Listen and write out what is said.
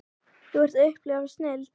Þú ert að upplifa snilld.